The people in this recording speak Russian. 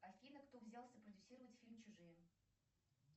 афина кто взялся продюсировать фильм чужие